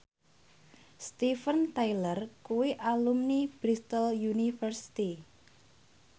Steven Tyler kuwi alumni Bristol university